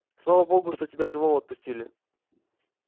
слава богу что тебя живого отпустили